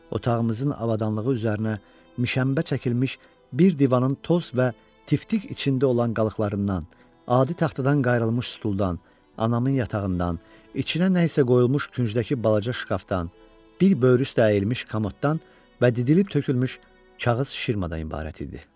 Otağımızın avadanlığı üzərinə mişənbə çəkilmiş bir divanın toz və tiftik içində olan qalıqlarından, adi taxtadan qayırlmış stuldan, anamın yatağından, içinə nəsə qoyulmuş küncdəki balaca şkafdan, bir böyrü üstə əyilmiş komoddan və didilib tökülmüş kağız şirmadan ibarət idi.